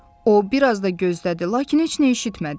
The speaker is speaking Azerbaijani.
O biraz da gözlədi, lakin heç nə eşitmədi.